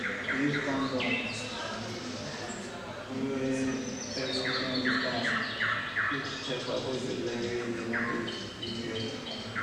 to use condom well every single time fit help avoid belle wey you no dey ready for